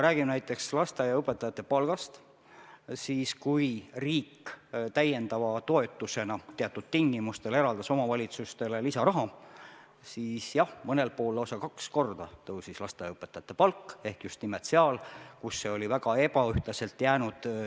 Rääkides näiteks lasteaiaõpetajate palgast: kui riik eraldas omavalitsustele teatud tingimustel täiendava toetusena lisaraha, siis jah, mõnel pool tõusis lasteaiaõpetajate palk lausa kaks korda ja just nimelt seal, kus see oli teiste omavalitsuste palgast väga ebaühtlaselt maha jäänud.